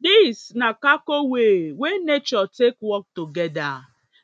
Dis na kako way wey nature take work togeda,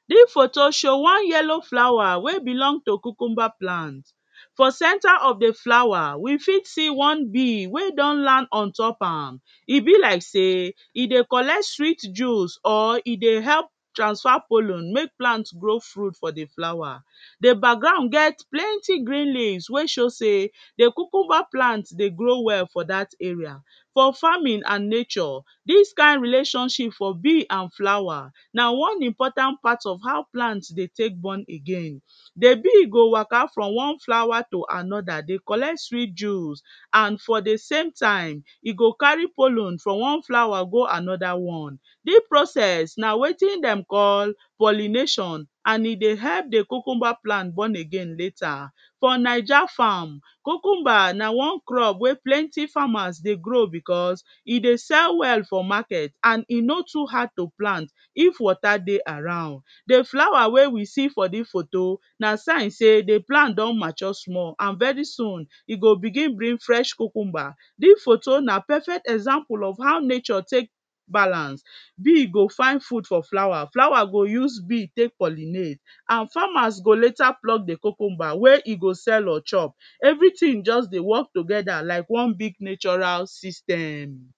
dis photo show one yellow flower wey belong to cucumber plant for center of di flower we fit see one bee wey don land ontop am e be like sey e dey collect sweet juice or e dey help transfer pollen make plant grow full for di flower. Di background get plenty green leaves wey show sey di cucumber plant dey grow well for dat arae. for farming and nature, dis kind relationship for bee and flower na one important part of how plant dey take born again, di bee go wake from one flower to another dey collect sweet juice and for di same time e go carry pollen from one flower go anoda one, dis process na wetin dem call pollination and e dey help di cucumber plant born again later. For Naija farm cucumber na one crop wey plenty farmers dey grow becos e dey sell well for market and e no too hard to plant if water dey around, di flower wey we see for dis photo na sign sey di plant don mature small and very soon e go begin bring fresh cucumber, dis photo na perfect example of how nature take balance, bee go find food from flower, flower go use bee take pollinate and farmer go later pluck di cucumber wey e go sell or chop everytin just dey work togeda like one big natural system.